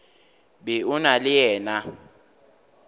be o na le yena